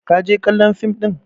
ka je kallon fim ɗin!